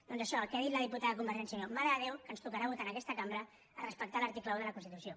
doncs això el que ha dit la diputada de convergència i unió mare de déu que ens tocarà votar en aquesta cambra respectar l’article un de la constitució